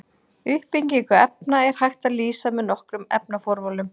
Uppbyggingu efna er hægt að lýsa með nokkrum efnaformúlum.